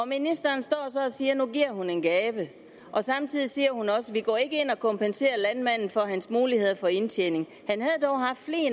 siger at nu giver hun en gave og samtidig siger hun at og kompenserer landmanden for hans muligheder for indtjening